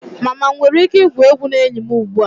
Mama m nwere ike igwu egwu na enyi m ugbu a?